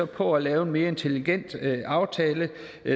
på at lave en mere intelligent aftale